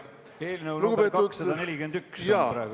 Eelnõu nr 241 on praegu arutlusel.